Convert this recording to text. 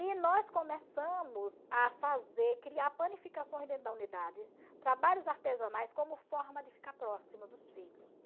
E nós começamos a fazer, criar panificações dentro da unidade, trabalhos artesanais como forma de ficar próximo dos filhos.